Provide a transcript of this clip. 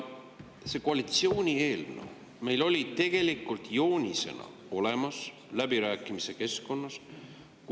See koalitsiooni eelnõu oli meil tegelikult joonisena olemas läbirääkimiste keskkonnas.